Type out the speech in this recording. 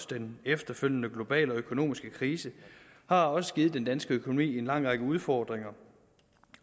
den efterfølgende globale økonomiske krise også har givet den danske økonomi en lang række udfordringer